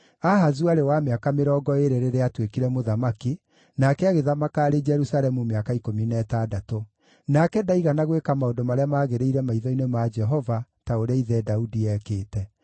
Ahazu aarĩ wa mĩaka mĩrongo ĩĩrĩ rĩrĩa aatuĩkire mũthamaki, nake agĩthamaka arĩ Jerusalemu mĩaka ikũmi na ĩtandatũ. Nake ndaigana gwĩka maũndũ marĩa maagĩrĩire maitho-inĩ ma Jehova, ta ũrĩa ithe Daudi eekĩte.